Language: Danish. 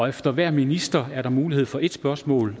efter hver minister er der mulighed for et spørgsmål